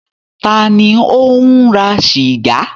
Ta ni ò ń ra sìgá?